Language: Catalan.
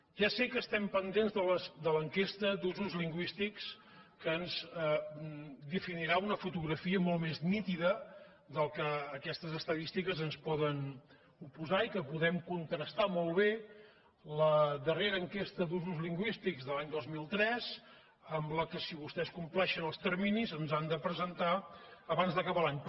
ja sé que estem pendents de l’enquesta d’usos lingüístics que ens definirà una fotografia molt més nítida del que aquestes estadístiques ens poden oposar i que podem contrastar molt bé la darrera enquesta d’usos lingüístics de l’any dos mil tres amb la que si vostès compleixen els terminis ens han de presentar abans d’acabar l’any